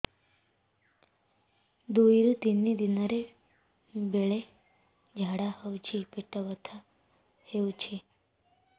ଦୁଇରୁ ତିନି ଦିନରେ ବେଳେ ଝାଡ଼ା ହେଉଛି ପେଟ ବଥା ହେଉଛି